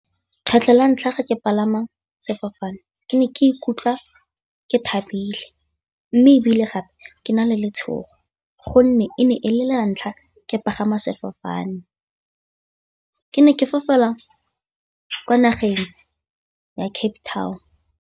Kgetlho la ntlha ga ke palama sefofane, ke ne ke ikutlwa ke thabile mme ebile gape ke na le letshogo gonne e ne e le la ntlha ke pagama sefofane. Ke ne ke fofela kwa nageng ya Cape Town.